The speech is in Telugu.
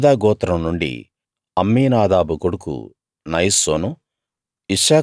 యూదా గోత్రం నుండి అమ్మీనాదాబు కొడుకు నయస్సోను